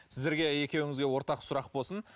сіздерге екеуіңізге ортақ сұрақ болсын